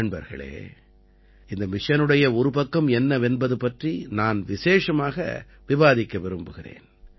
நண்பர்களே இந்த மிஷனுடைய ஒரு பக்கம் என்னவென்பது பற்றி நான் விசேஷமாக விவாதிக்க விரும்புகிறேன்